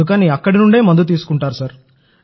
అందుకని అక్కడి నుండే మందు తీసుకుంటారు